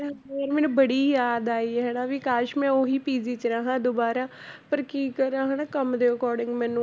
ਫਿਰ ਮੈਨੂੰ ਬੜੀ ਯਾਦ ਆਈ ਹਨਾ ਵੀ ਕਾਸ਼ ਮੈਂ ਉਹੀ PG 'ਚ ਰਹਾਂ ਦੁਬਾਰਾ ਪਰ ਕੀ ਕਰਾਂ ਹਨਾ ਕੰਮ ਦੇ according ਮੈਨੂੰ